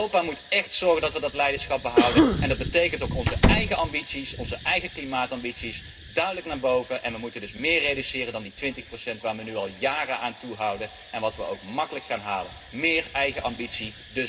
Europa moet echt zorgen dat we dat leiderschap behouden en dat betekent ook dat onze eigen ambities, onze eigen klimaatambities, duidelijk verhoogd moeten worden. We moeten dus meer reduceren dan die twintig procent waar we nu al jaren aan vasthouden en die we ook makkelijk gaan halen. Dus meer eigen ambities.